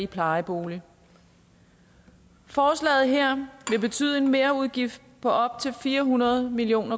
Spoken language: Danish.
plejebolig forslaget her vil betyde en merudgift på op til fire hundrede million